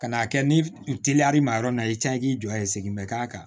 Ka n'a kɛ ni teliyar'i ma yɔrɔ min na i tɛ k'i jɔ i segin bɛ k'a kan